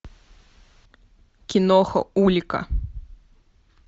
киноха улика